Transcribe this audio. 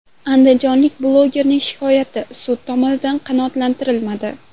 Andijonlik blogerning shikoyati sud tomonidan qanoatlantirilmadi.